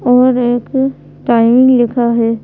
और एक टाइमिंग लिखा है।